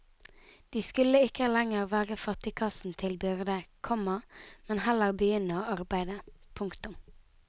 De skulle ikke lenger være fattigkassen til byrde, komma men heller begynne å arbeide. punktum